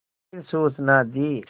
फिर सूचना दी